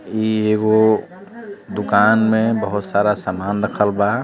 इ एगो दुकान में बहुत सारा सामान रखल बा |